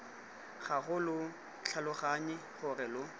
gago lo tlhaloganye gore lo